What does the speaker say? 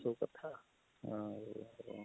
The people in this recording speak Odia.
ସବୁ କଥା ଆଉ ଉଃ